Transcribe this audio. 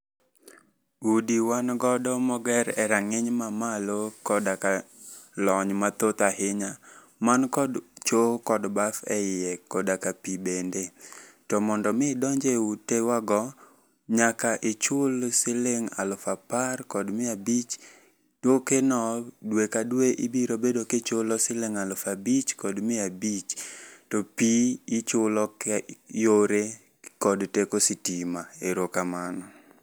Udi wangodo moger e rang'iny mamalo koda ka lony mathoth ainya. Man kod choo kod baf eiye koda ka pii bende. Tomondo mii idonje ute wa go, nyaka ichul siling' aluf apar kod mia abich. Tokeno due ka due ibirobedo kichulo siling' aluf abich kod mia abich, to pii ichulo yore gi teko sitima. Erokamano.